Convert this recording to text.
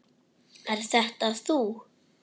Er þetta þú?